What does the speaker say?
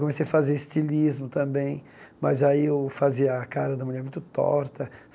Comecei a fazer estilismo também, mas eu fazia a cara da mulher muito torta.